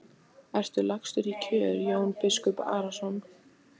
Ertu lagstur í kör Jón biskup Arason?